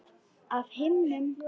Af himnum?